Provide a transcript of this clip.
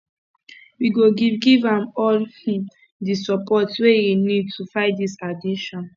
we go giv giv am all um di support wey e need to fight dis addiction